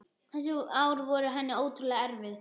Þessi ár voru henni ótrúlega erfið.